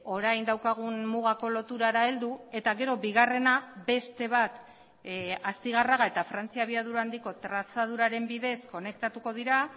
orain daukagun mugako loturara heldu eta gero bigarrena beste bat astigarraga eta frantzia abiadura handiko trazaduraren bidez konektatuko dira